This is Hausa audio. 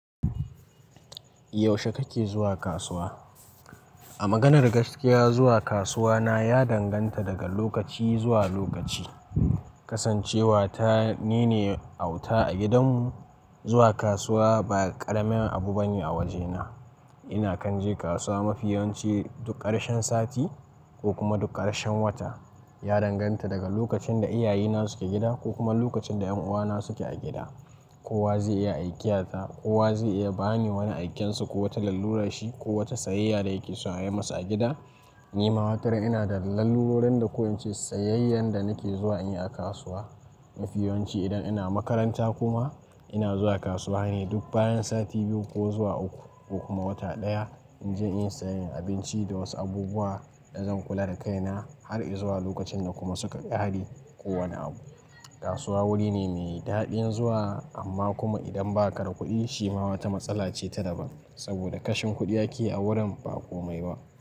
Yaushe kake zuwa kasuwa? A maganar gaskiya, zuwa kasuwa na ya danganta daga lokaci zuwa lokaci. Kasancewa ta nine auta a gidan mu, zuwa kasuwa ba ƙaramin abu bane a wajena. Ina kan je kasuwa mafiyawanci duk ƙarshen sati ko kuma duk ƙarshen wata. Ya danganta daga lokacin da iyaye na suke gida ko kuma lokacin da 'yan uwa na suke a gida. Kowa zai iya aikiya ta, kowa zai iya bani wani aikensa ko wata allurar shi ko wata sayayya da yake so a yi masa a gida. Ni ma wataran ina da lallurorin da ko in ce sayayyan da nake zuwa in yi a kasuwa. Mafiyawanci idan ina makaranta kuma ina zuwa kasuwa ne duk bayan sati biyu ko zuwa uku ko kuma wata ɗaya. In je inyi sayayyan abinci da wasu abubuwa da zan kula da kaina har izuwa lokacin da kuma suka ƙare ko wani abu. Kasuwa wuri ne mai daɗin zuwa amma kuma idan ba ka da kuɗi shi ma wata matsala ce ta daban. Saboda kashin kuɗi ake a wurin ba komai ba.